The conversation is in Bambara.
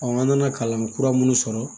an nana kalan kura minnu sɔrɔ